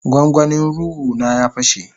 gwangwani ruea na ya pashe.